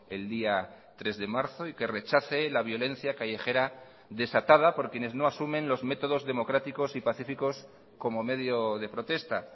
el día tres de marzo y que rechace la violencia callejera desatada por quienes no asumen los métodos democráticos y pacíficos como medio de protesta